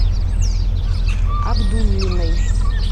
абдуллиной